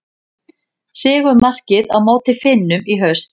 Sigurmarkið á móti Finnum í haust.